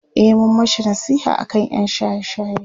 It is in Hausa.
e mun mashi nasiha aka ƴan shaye shaye